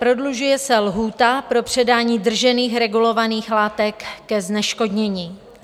Prodlužuje se lhůta pro předání držených regulovaných látek ke zneškodnění.